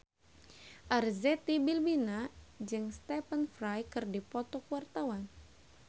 Arzetti Bilbina jeung Stephen Fry keur dipoto ku wartawan